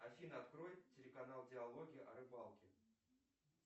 афина открой телеканал диалоги о рыбалке